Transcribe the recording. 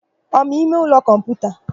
Ọ ma ịmeụlọ kọmputa?